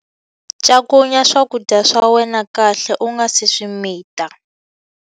Cakunya swakudya swa wena kahle u nga si swi mita.